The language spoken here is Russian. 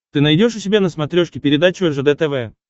ты найдешь у себя на смотрешке передачу ржд тв